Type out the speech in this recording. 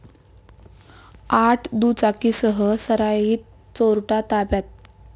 आठ दुचाकींसह सराईत चोरटा ताब्यात